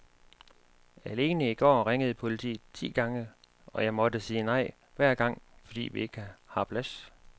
Alene i går ringede politiet ti gange, og jeg måtte sige nej hver gang, fordi vi ikke har plads.